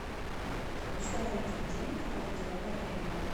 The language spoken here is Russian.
установить будильник на определенное время